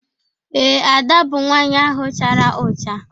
Ee, Ada bụ nwaanyị ahụ chara ụcha.